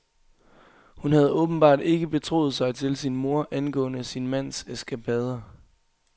Hun havde åbenbart ikke betroet sig til sin mor angående sin mands eskapader.